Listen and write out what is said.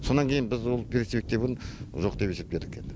сонан кеін біз ол перспективін жоқ деп есептедік енді